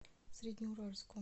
среднеуральску